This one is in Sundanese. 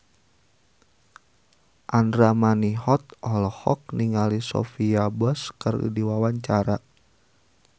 Andra Manihot olohok ningali Sophia Bush keur diwawancara